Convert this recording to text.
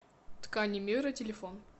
ткани мира телефон